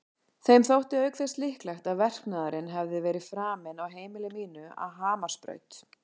Þeim þótti auk þess líklegt að verknaðurinn hefði verið framinn á heimili mínu að Hamarsbraut.